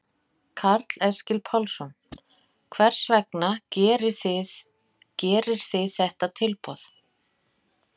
Karl Eskil Pálsson: Hvers vegna gerir þið þetta tilboð?